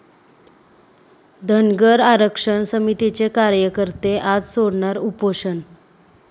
धनगर आरक्षण समितीचे कार्यकर्ते आज सोडणार उपोषण